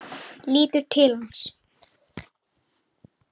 Lítur til hans.